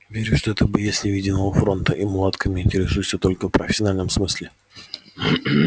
верю что ты боец невидимого фронта и мулатками интересуешься только в профессиональном смысле